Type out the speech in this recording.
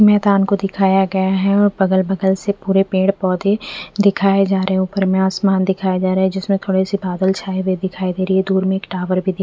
मैदान को दिखाया गया है और बगल-बगल से पूरे पेड़-पौधे दिखाए जा रहे हैं उपर मे आसमान दिखाया जा रहा है जिसमें थोड़े से बादल छाए हुए दिखाई दे रही है दूर में एक टावर भी दिख--